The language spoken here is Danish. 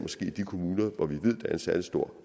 de kommuner hvor vi ved at en særlig stor